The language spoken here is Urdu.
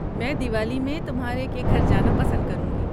میں دیوالی میں تمہارے کے گھر جانا پسند کروں گی۔